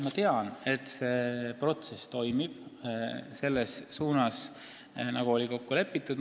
Ma tean, et see protsess toimub selles suunas, nagu oli kokku lepitud.